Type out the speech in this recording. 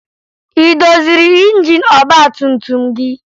Ị doziri injin ọgbatumtum gị?